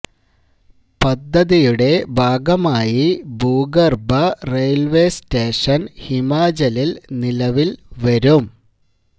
പദ്ധതിയുടെ ഭാഗമായി ഭൂഗര്ഭ റെയില്വെ സ്റ്റേഷന് ഹിമാചലില് നിലവില് വരും